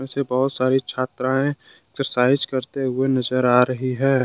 इसमें बहुत सारी छात्राएं एक्सरसाइज करते हुए नजर आ रही है।